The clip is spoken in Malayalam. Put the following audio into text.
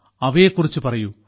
അവയെ കുറിച്ച് പറയൂ